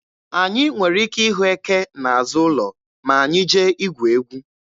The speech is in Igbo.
Anyị nwere ike ịhụ eke n'azụ ụlọ ma anyị jee igwu egwu.